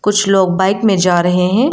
कुछ लोग बाइक में जा रहे हैं।